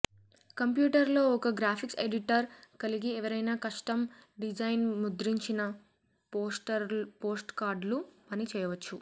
కంప్యూటర్లో ఒక graphics editor కలిగి ఎవరైనా కస్టమ్ డిజైన్ ముద్రించిన పోస్ట్కార్డులు పని చేయవచ్చు